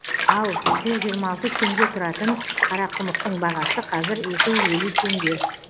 ал жүз жиырма алты теңге тұратын қарақұмықтың бағасы қазір екі жүз елу теңге